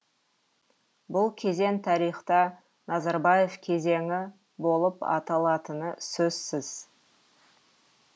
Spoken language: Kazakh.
бұл кезең тарихта назарбаев кезеңі болып аталатыны сөзсіз